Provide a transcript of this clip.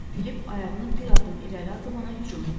Filip ayağını bir addım irəli atıb ona hücum etdi.